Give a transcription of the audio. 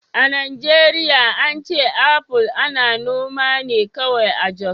A Najeriya an ce apple ana noma ne kawai a Jos